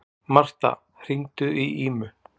Martha, hringdu í Ímu.